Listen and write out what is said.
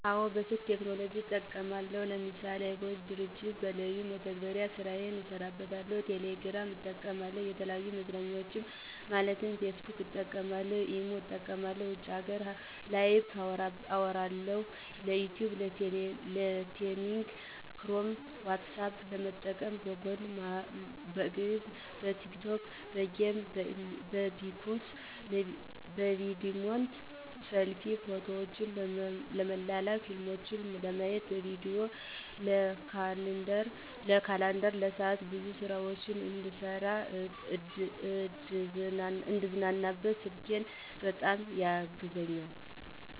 አወ በስልክ ቴክኖሎጅን እጠቀማለሁ ለምሳሌ:- የiCog ድርጅት በለዩን መተግበሪያ ስራየን እሰራበታለሁ፣ ቴሌግራምን እጠቀምበታለሁ፣ የተለያዩ መዝናኛዎችን ለማየት ፌስቡክን እጠቀምበታለሁ፣ ኢሞን እጠቀማለሁ ውጭ ሀገር ላይቨ ለማዉራት፣ ለዩቱብ፣ ለቤቲንግ ክሮም፣ ኋትሳፐ ለመጠቀም፣ ለጎግል፣ ለግዕዝ፣ ለቲክቶክ፣ ለጌም፣ ለቢሶከር፣ ለቪድሜት፣ ለሰልፊ፣ ፎቶዎችን ለመላላክ፣ ፊልሞችን ለማየት፣ ለቪዲዬ፣ ለካላንደር፣ ለሰዓት፣ ብዙ ስራዎች እንድሰራ፣ እንድዝናናበት ስልኬ በጣም ያግዘኛል።